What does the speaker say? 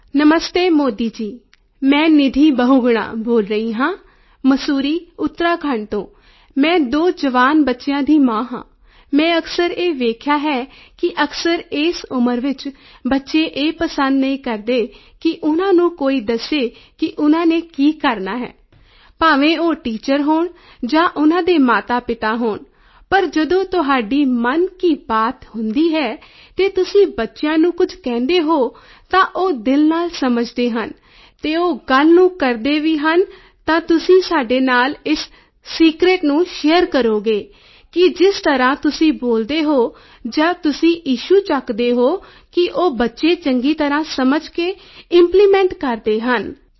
ਨਮਸਤੇ ਮੋਦੀ ਜੀ ਮੈਂ ਨਿਧੀ ਬਹੁਗੁਣਾ ਬੋਲ ਰਹੀ ਹਾਂ ਮਸੂਰੀ ਉਤਰਾਖੰਡ ਤੋਂ ਮੈਂ 2 ਜਵਾਨ ਬੱਚਿਆਂ ਦੀ ਮਾਂ ਹਾਂ ਮੈਂ ਅਕਸਰ ਇਹ ਵੇਖਿਆ ਹੈ ਕਿ ਅਕਸਰ ਇਸ ਉਮਰ ਵਿੱਚ ਬੱਚੇ ਇਹ ਪਸੰਦ ਨਹੀਂ ਕਰਦੇ ਕਿ ਉਨ੍ਹਾਂ ਨੂੰ ਕੋਈ ਦੱਸੇ ਕਿ ਉਨ੍ਹਾਂ ਨੇ ਕੀ ਕਰਨਾ ਹੈ ਭਾਵੇਂ ਉਹ ਟੀਚਰ ਹੋਣ ਜਾਂ ਉਨ੍ਹਾਂ ਦੇ ਮਾਤਾਪਿਤਾ ਹੋਣ ਪਰ ਜਦੋਂ ਤੁਹਾਡੀ ਮਨ ਕੀ ਬਾਤ ਹੁੰਦੀ ਹੈ ਤੇ ਤੁਸੀਂ ਬੱਚਿਆਂ ਨੂੰ ਕੁਝ ਕਹਿੰਦੇ ਹੋ ਤਾਂ ਉਹ ਦਿਲ ਨਾਲ ਸਮਝਦੇ ਹਨ ਤੇ ਉਸ ਗੱਲ ਨੂੰ ਕਰਦੇ ਵੀ ਹਨ ਤਾਂ ਤੁਸੀਂ ਸਾਡੇ ਨਾਲ ਇਸ ਸੀਕ੍ਰੇਟ ਨੂੰ ਸ਼ੇਅਰ ਕਰੋਗੇ ਕੀ ਜਿਸ ਤਰ੍ਹਾਂ ਤੁਸੀਂ ਬੋਲਦੇ ਹੋ ਜਾਂ ਜੋ ਤੁਸੀਂ ਇਸ਼ੂ ਚੁੱਕਦੇ ਹੋ ਕੀ ਉਹ ਬੱਚੇ ਚੰਗੀ ਤਰ੍ਹਾਂ ਸਮਝ ਕੇ ਇੰਪਲੀਮੈਂਟ ਕਰਦੇ ਹਨ ਧੰਨਵਾਦ